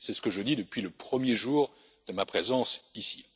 C'est ce que je dis depuis le premier jour de ma présence ici.